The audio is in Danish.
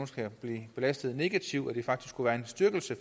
skal blive belastet negativt men at det faktisk skulle være en styrkelse